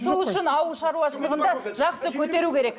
сол үшін ауыл шаруашылығын да жақсы көтеру керек